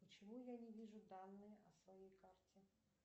почему я не вижу данные о своей карте